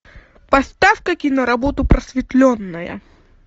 поставь ка киноработу просветленная